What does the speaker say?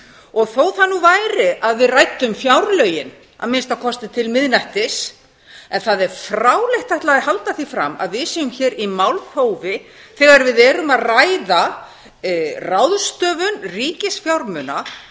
og þótt það nú væri að við ræddum fjárlögin að minnsta kosti til miðnættis en það er fráleitt að ætla að halda því fram að við séum hér í málþófi þegar við erum að ræða ráðstöfun ríkisfjármuna